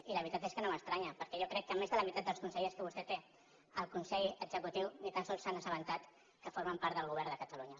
i la veritat és que no m’estranya perquè jo crec que més de la meitat dels consellers que vostè té al consell executiu ni tan sols s’han assabentat que formen part del govern de catalunya